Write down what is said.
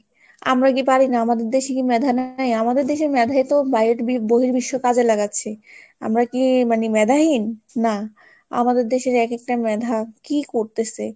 আমরা কি পারি না? আমাদের দেশে কি মেধা নেই? আমাদের দেশে মেধাই তো বহির্বিশ্ব কাজে লাগাচ্ছে, আমরা কি মানে মেধাহীন? না, আমাদের দেশের এক একটা মেধা কি করতেছে?